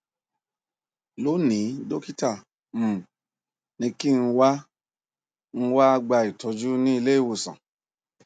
lónìí dọkítà um ní kí n wá n wá gba ìtọjú ní ilé ìwòsàn